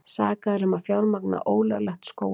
Sakaðir um að fjármagna ólöglegt skógarhögg